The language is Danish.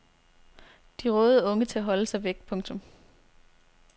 De rådede unge til at holde sig væk. punktum